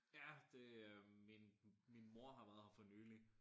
Ja det øh min min mor har været her for nyligt